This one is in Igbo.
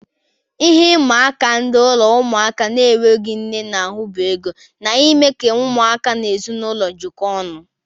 Ihe ịma aka ndị ụlọ ụmụaka na-enweghị nne na-ahu bụ ego, na ime ka ụmụaka na ezinaụlọ jikọọ ọnụ.